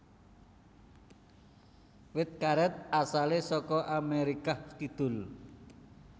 Wit karet asale saka Amerikah Kidul